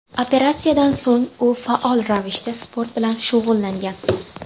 Operatsiyadan so‘ng u faol ravishda sport bilan shug‘ullangan.